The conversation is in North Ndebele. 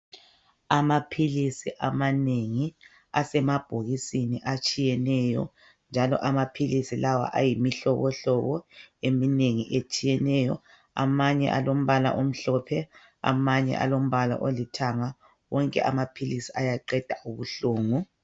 Amaphilisi amanengi asemabhokisini atshiyeneyo njalo amaphilisi lawa ayimihlobohlobo eminengi etshiyeneyo. Amanye alombala omhlophe, amanye alombala olithanga. Wonke amaphilisi ayaqeda ubuhlungu.